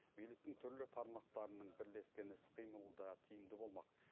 биліктің түрлі тармақтарының бірлескен іс қимылы да тиімді болмақ